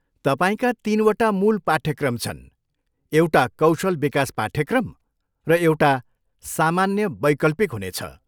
तपाईँका तिनवटा मूल पाठ्यक्रम छन्, एउटा कौशल विकास पाठ्यक्रम, र एउटा सामान्य वैकल्पिक हुनेछ।